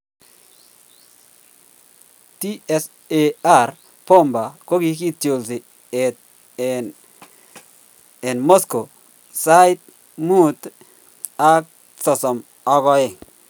tsar bomba kogigitolsi en moscow sait 11:32